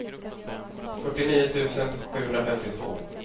fyrtionio tusen sjuhundrafemtiotvå